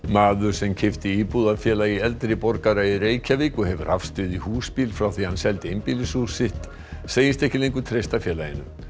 maður sem keypti íbúð af Félagi eldri borgara í Reykjavík og hefur hafst við í húsbíl frá því hann seldi einbýlishús sitt segist ekki lengur treysta félaginu